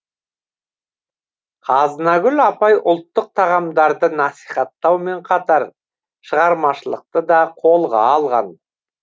қазынагүл апай ұлттық тағамдарды насихаттаумен қатар шығармашылықты да қолға алған